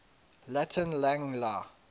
latin lang la